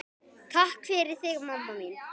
Takk fyrir þig, mamma mín.